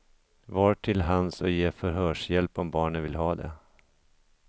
Var till hands och ge förhörshjälp om barnet vill ha det.